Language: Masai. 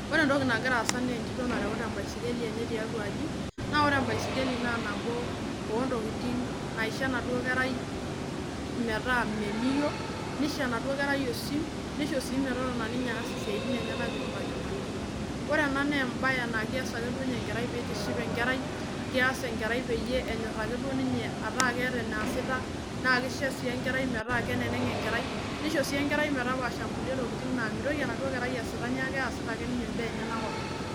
Wore entoki nakira aasa naa entito nareuta embaiskeli enye tiatua aji. Naa wore embaiskeli naa nabo ontokitin naisho enaduo kerai metaa meliyio. Nisho enaduo kerai osim, nisho sii metotona ninye aas isiatin enyanak itu itanyamalisho. Wore ena naa embaye naa keas ake duo ninye enkerai pee itiship enkerai. Keas enkerai peyie enyorr ake duo ninye ataa keeta eneeasita, naa kisho sii enkerai metaa keneneng enkerai, nisho sii enkerai metapaasha inkuli tokitin naa mitoki enaduo kerai asita. Neeku keasita ake ninye imbaa enyanak openy.